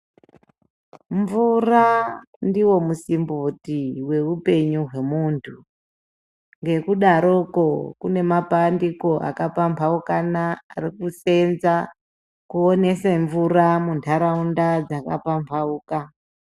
Mvura ndiwo musimboti weupenyu hwemuntu ngekudaroko kune mapandiko akaphambaukana ari kuseenza kuonese mvura muntaraunda dzakaphambauka